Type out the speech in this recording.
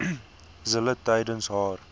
zille tydens haar